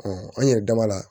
an yɛrɛ dama la